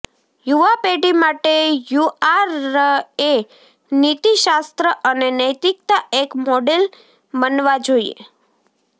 યુવા પેઢી માટે યુઆરએ નીતિશાસ્ત્ર અને નૈતિકતા એક મોડેલ બનવા જોઈએ